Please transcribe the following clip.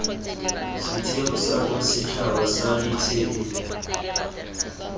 setheo sa bosetšhaba sa ditshedi